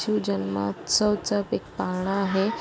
ची जन्मासव चाच एक पाळणा आहे.